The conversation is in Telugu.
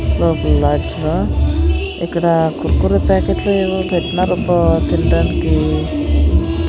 ఇక్కడ కుర్కురే ప్యాకెట్ లు ఏవో పెట్టినారబ్బ తినడానికి.